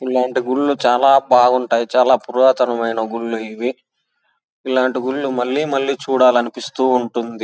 ఇలాంటి గుడులు చాల బాగుంటాయి చాల పురాతన మైన గుడులు ఇవి ఇలాంటి గుడులు మల్లి మల్లి చూడాలనిపిస్తూ ఉంటుంది.